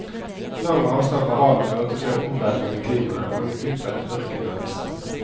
Lang avstand fra havet førte til en omveltning i klimaet og en utbredt ørkendannelse.